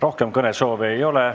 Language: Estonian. Rohkem kõnesoove ei ole.